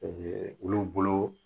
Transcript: olu bolo